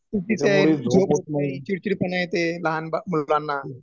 चुकीचं आहे, झोप होत नाही चिडचिड पणा येते लहान मूल बांना